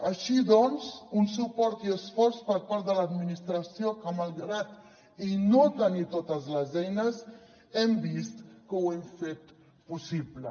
així doncs un suport i esforç per part de l’administració que malgrat no tenir totes les eines hem vist que ho hem fet possible